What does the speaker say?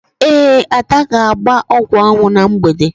Ee, Ada ga-agba ọgwụanwụ na mgbede.